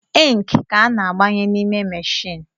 Inki ka a na-agbanye n’ime machine